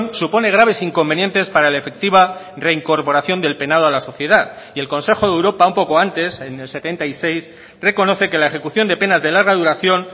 supone graves inconvenientes para la efectiva reincorporación del penado a la sociedad y el consejo de europa un poco antes en el setenta y seis reconoce que la ejecución de penas de larga duración